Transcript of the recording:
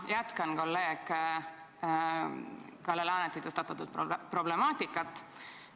Ma jätkan kolleeg Kalle Laaneti tõstatatud problemaatikat.